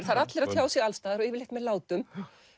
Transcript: það eru allir að tjá sig alls staðar og yfirleitt með látum